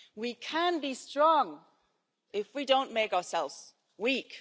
We can be strong if we don't make ourselves weak.